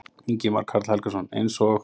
Ingimar Karl Helgason: Eins og?